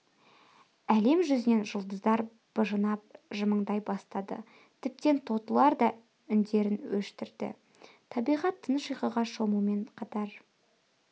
әлем жүзінен жұлдыздар быжынап жымыңдай бастады тіптен тотылар да үндерін өшірді табиғат тыныш ұйқыға шомумен қатар